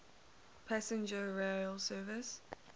passenger rail service